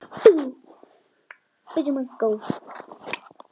Ekki fara strax!